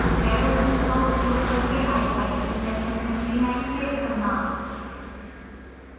arrow keys का उपयोग करके ipython session हिस्ट्री नेविगेट करना